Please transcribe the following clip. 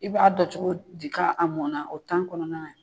I b'a dɔn cogo di ka mɔn na o kɔnɔna